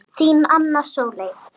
Þín, Anna Sóley.